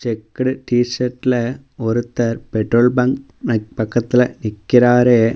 Checked டீ_சர்ட்ல ஒருத்தர் petrol bunk பக்கத்துல நிக்கறாரு.